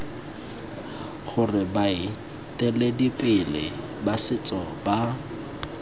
gore baeteledipele ba setso ba